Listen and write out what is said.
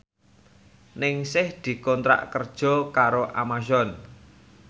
Ningsih dikontrak kerja karo Amazon